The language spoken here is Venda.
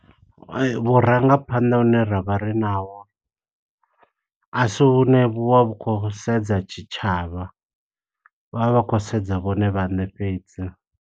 Vhurangaphanḓa hune ra vha ri naho, a si hune vhu vha vhu khou sedza tshitshavha. Vha vha vha tshi khou sedza vhone vhaṋe fhedzi.